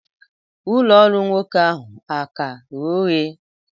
ụlọ ọrụ nwoke ahụ a-ka ghe oghe?